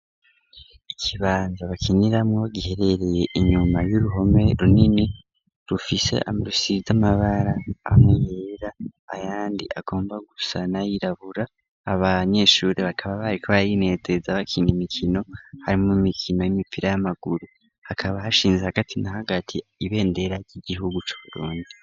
Ikibanza bakiniramwo giherereye inyuma y'uruhome runini rufise amabara ameyera ayandi agomba gusana yirabura abanyeshuri bakaba baye ko bayineteza bakina imikino harimo mikino y'imipira y'amaguru hakaba hashinze hagati na hagatiye ibendera ry'igihugu c’Uburundi.